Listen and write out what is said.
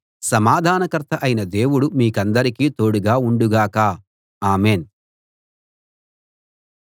సమాధానకర్త అయిన దేవుడు మీకందరికీ తోడుగా ఉండు గాక ఆమేన్‌